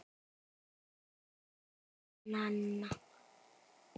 Elsku Nanna.